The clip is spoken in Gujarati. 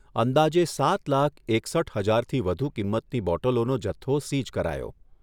અંદાજે સાત લાખ એકસઠ હજારથી વધુ કિંમતની બોટલોનો જથ્થો સીઝ કરાયો.